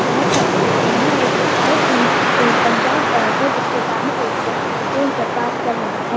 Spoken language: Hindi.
बहुत सारी बिल्डिंग है और उसके साइड में एक पंजाब बैंक है जिसके सामने एक व्यक्ति फोन पर बात कर रहा है।